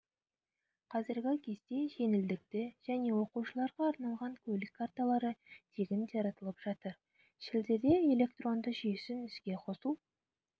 қазіргі кезде жеңілдікті және оқушыларға арналған көлік карталары тегін таратылып жатыр шілдеде электронды жүйесін іске қосу